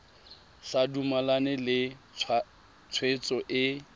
sa dumalane le tshwetso e